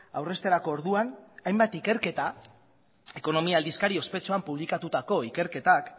aurrezterako orduan hainbat ikerketa ekonomia aldizkaria ospetsuan publikatutako ikerketak